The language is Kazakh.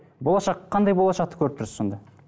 болашақ қандай болашақты көріп тұрсыз сонда